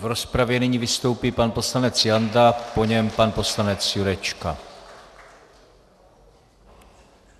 V rozpravě nyní vystoupí pan poslanec Janda, po něm pan poslanec Jurečka.